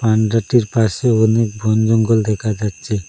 পান্ডা টির পাশে অনেক বন জঙ্গল দেখা যাচ্ছে।